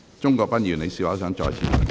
鍾國斌議員，請發言。